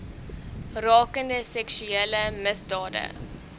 rakende seksuele misdade